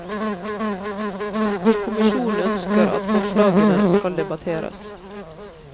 Kommisjonen ønsker at forslagene skal debatteres.